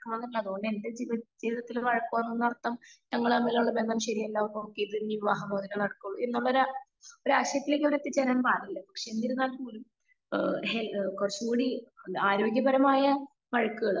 അത് കൊണ്ട് എന്റെ ജീവിതത്തിൽ വഴക്ക് വേണ്ടന്ന് അർത്ഥം ഞങ്ങൾ തമ്മിലുള്ള ബന്ധം ശരിയല്ല എല്ലാ നോക്കി ഇനി വിവാഹ മോചനം നടക്കോള്ളു എന്നുള്ള ആ പക്ഷെ എന്നിരുന്നാൽ പോലും ഹേ എന്ത് കുറച്ചും കുടി ആരോഗ്യ പരമായ വഴക്കുകൾ